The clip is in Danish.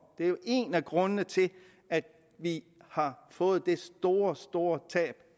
det er jo en af grundene til at vi har fået det store store tab